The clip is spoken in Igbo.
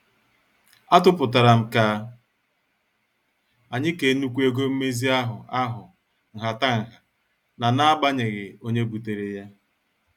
Atuputaram ka anyị kee nnukwu ego mmezi ahụ ahụ nhataha n' n'agbanyeghị onye butere ya.